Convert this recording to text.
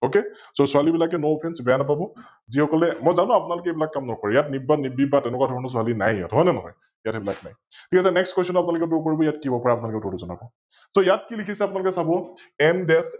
Ok ছোৱালিবিলাকে NoOffence বেয়া নেপাব, যি সকলে, মই জানো আপোনালোকে এইবিলাক কাম নকৰে, ইয়াত নিব্বা, নিৰ্বিবাদ তেনেকোৱা ধৰণৰ ছোৱালি নাইয়ে, হয় নে নহয়? ইয়াত সৈবিলাক নাই । ঠিক আছে । NextQuestion টো আপোনালোকে Draw কৰিব, ইয়াত কি হব পাৰে আপোনালোকে উত্তৰটো যনাব? ইয়াত কি লিখিছে আপোনালোকে চাব MDesh